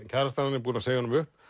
kærastan er búin að segja honum upp